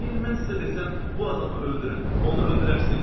Əgər mən sizə desəm bu adamı öldürün, onu öldürərsiz?